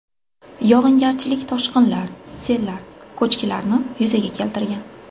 Yog‘ingarchilik toshqinlar, sellar, ko‘chkilarni yuzaga keltirgan.